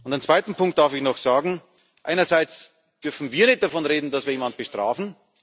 Einen zweiten Punkt darf ich noch sagen Einerseits dürfen wir nicht davon reden, dass wir jemanden bestrafen.